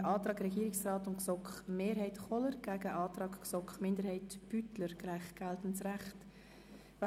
Wir stellen den Antrag von Regierungsrat und GSoK-Mehrheit dem Antrag der GSoK-Minderheit/Beutler auf geltendes Recht gegenüber.